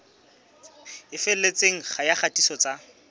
e felletseng ya kgatiso tsa